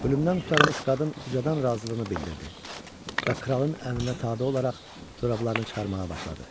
Ölümdən qurtarmış qadın ucadan razılığını bildirdi və kralın əmrinə tabe olaraq corablarını çıxarmağa başladı.